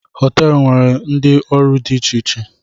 Họteelu nwere ndị ọrụ dị iche iche